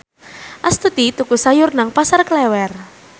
Astuti tuku sayur nang Pasar Klewer